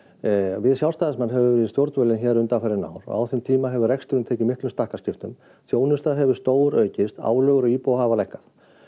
við Sjálfstæðismenn höfum við stjórnvölinn undanfarin ár og á þeim tíma hefur reksturinn tekið miklum stakkaskiptum þjónusta hefur stóraukist álögur á íbúa hafa lækkað